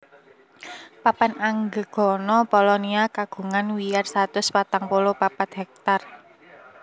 Papan Anggegana Polonia kagungan wiyar satus patang puluh papat hektar